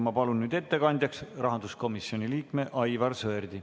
Ma palun ettekandjaks rahanduskomisjoni liikme Aivar Sõerdi.